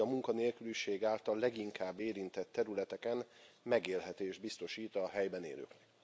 Így a munkanélküliség által leginkább érintett területeken megélhetést biztosít a helyben élőknek.